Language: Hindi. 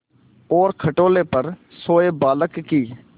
और खटोले पर सोए बालक की